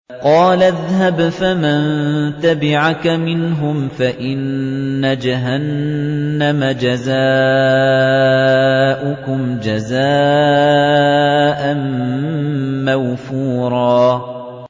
قَالَ اذْهَبْ فَمَن تَبِعَكَ مِنْهُمْ فَإِنَّ جَهَنَّمَ جَزَاؤُكُمْ جَزَاءً مَّوْفُورًا